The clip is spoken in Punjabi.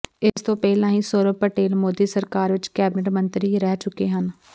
ਇਸਤੋਂ ਪਹਿਲਾਂ ਵੀ ਸੌਰਭ ਪਟੇਲ ਮੋਦੀ ਸਰਕਾਰ ਵਿੱਚ ਕੈਬਨਿਟ ਮੰਤਰੀ ਰਹਿ ਚੁੱਕੇ ਹਨ